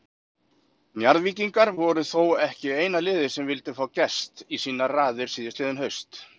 Njarðvíkingar voru þó ekki eina liðið sem vildi fá Gest í sínar raðir síðastliðið haust.